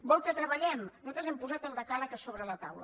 vol que treballem nosaltres hem posat el decàleg sobre la taula